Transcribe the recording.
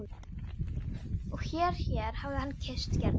Og hér hér hafði hann kysst Gerði.